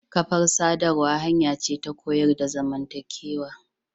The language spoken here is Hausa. Kafar sadarwa hanya ce ta koyar da zamantakewa.